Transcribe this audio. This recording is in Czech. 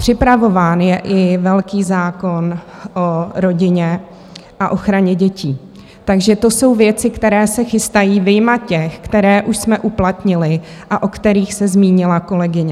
Připravován je i velký zákon o rodině a ochraně dětí, takže to jsou věci, které se chystají, vyjma těch, které už jsme uplatnili a o kterých se zmínila kolegyně.